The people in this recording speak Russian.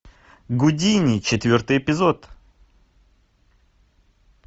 гудини четвертый эпизод